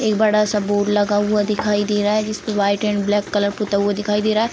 एक बड़ा सा बोर्ड लगा हुआ दिखाई दे रहा है जिसपे वाइट एंड ब्लैक कलर पुता हुआ दिखाई दे रहा है।